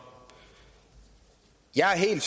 er en